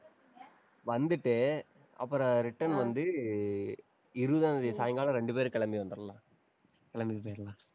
வந்துட்டு, அப்புறம் return வந்து, இருபதாம் தேதி சாயங்காலம், ரெண்டு பேரும் கிளம்பி வந்திறலாம். கிளம்பிட்டு போயிரலாம்